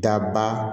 Daba